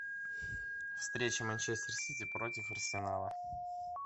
встреча манчестер сити против арсенала